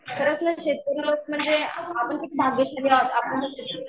खरंच नं शेतकरी लोक म्हणजे आपण खूप भाग्यशाली आहोत